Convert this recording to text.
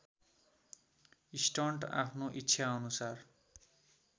stunt आफ्नो इच्छाअनुसार